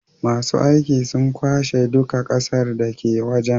masu aiki sun kwashe duka ƙasar dake waje